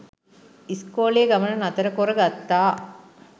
ඉස්කෝලේ ගමන නතර කොරගත්තා.